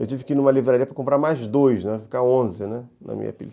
Eu tive que ir numa livraria para comprar mais dois, né, ficar onze na minha pilha.